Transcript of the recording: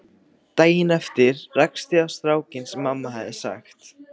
Daginn eftir rakst ég á strákinn sem mamma hafði sagt